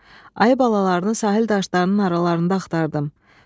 Ayının balalarını sahil daşlarının aralarında axtardım.